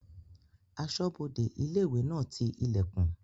Asọ́bodè ilé-ìwé náà ti ilẹ̀kùn